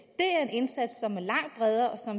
indsats som er langt bredere og